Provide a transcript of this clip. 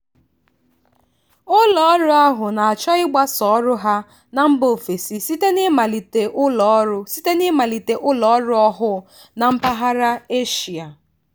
ụlọọrụ ahụ na-achọ ịgbasa ọrụ ya na mba ofesi site n'ịmalite ụlọọrụ site n'ịmalite ụlọọrụ ọhụụ na mpaghara eshia.